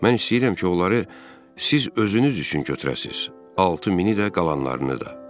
Mən istəyirəm ki, onları siz özünüz üçün götürəsiniz, 6000-i də, qalanlarını da.